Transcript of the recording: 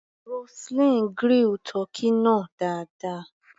Roseline grill tọ́kì náà dáadáa.